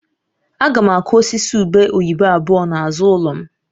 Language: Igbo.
Aga m akụ osisi ube oyibo abụọ n'azụ ụlọ m